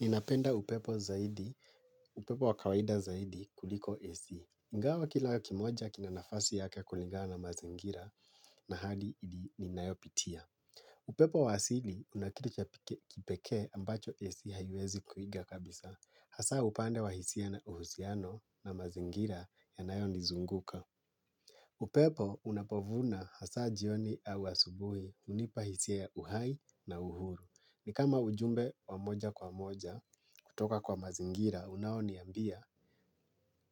Ninapenda upepo zaidi, upepo wa kawaida zaidi kuliko AC. Ingawa kila kimoja kina nafasi yake kulingana na mazingira na hadi ninayopitia. Upepo wa asili una kitu cha kipekee ambacho AC haiwezi kuiga kabisa. Hasa upande wa hisia na uhusiano na mazingira yanayonizunguka. Upepo unapovuma hasa jioni au asubuhi, hunipa hisia ya uhai na uhuru. Ni kama ujumbe wa moja kwa moja, kutoka kwa mazingira, unaoniambia,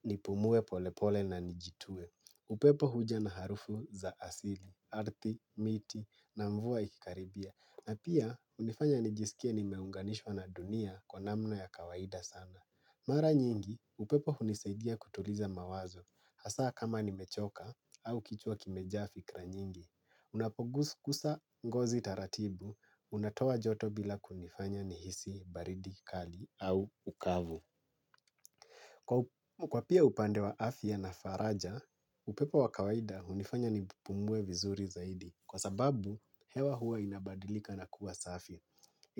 nipumue polepole na nijitue. Upepo huja na harufu za asili, ardhi, miti, na mvua ikikaribia. Na pia, hunifanya nijisikie nimeunganishwa na dunia kwa namna ya kawaida sana. Mara nyingi, upepo hunisaidia kutuliza mawazo. Hasa kama nimechoka, au kichwa kimejaa fikra nyingi. Unapogusa ngozi taratibu unatoa joto bila kunifanya nihisi baridi kali au ukavu. Kwa pia upande wa afya na faraja upepo wa kawaida hunifanya nipumue vizuri zaidi kwa sababu hewa huwa inabadilika na kuwa safi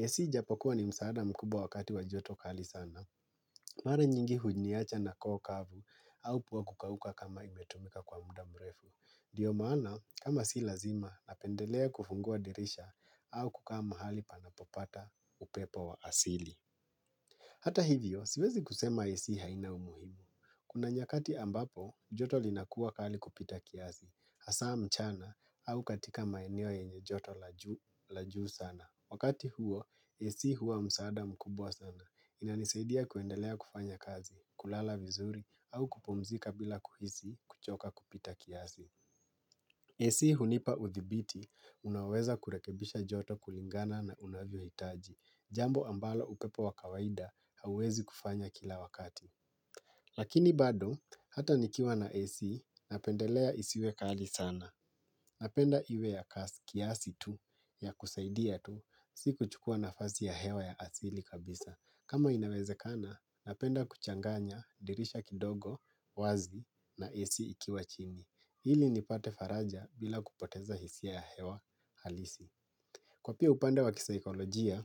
AC japokuwa ni msaada mkubwa wakati wa joto kali sana mara nyingi hujiniacha na koo kavu au pua kukauka kama imetumika kwa muda mrefu ndiyo maana, kama si lazima napendelea kufungua dirisha au kukaa mahali panapopata upepo wa asili. Hata hivyo, siwezi kusema AC haina umuhimu. Kuna nyakati ambapo, joto linakuwa kali kupita kiasi hasa mchana au katika maeneo yenye joto la juu sana wakati huo, AC huwa msaada mkubwa sana. Inanisaidia kuendelea kufanya kazi, kulala vizuri au kupumzika bila kuhisi kuchoka kupita kiasi. AC hunipa udhibiti unaoweza kurekebisha joto kulingana na unavyohitaji, jambo ambalo upepo wa kawaida hauwezi kufanya kila wakati lakini bado hata nikiwa na AC, napendelea isiwe kali sana napenda iwe ya kiasi tu, ya kusaidia tu, si kuchukuwa nafasi ya hewa ya asili kabisa kama inawezekana, napenda kuchanganya dirisha kidogo wazi na AC ikiwa chini ili nipate faraja bila kupoteza hisia ya hewa alisi kwa pia upande wa kisaikolojia,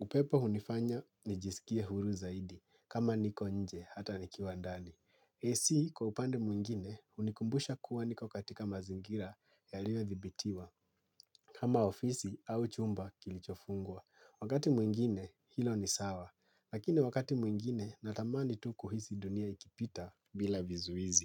upepo hunifanya nijisikie huru zaidi kama niko nje hata nikiwa ndani AC kwa upande mwengine, hunikumbusha kuwa niko katika mazingira yaliyodhibitiwa kama ofisi au chumba kilichofungwa wakati mwengine, hilo ni sawa lakini wakati mwingine natamani tu kihisi dunia ikipita bil vizuizi.